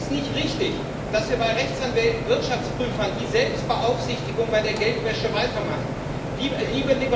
Es ist nicht richtig, dass wir bei Rechtsanwälten oder Wirtschaftsprüfern die Selbstbeaufsichtigung bei der Geldwäsche beibehalten.